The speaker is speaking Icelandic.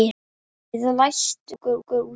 Við læstum okkur úti við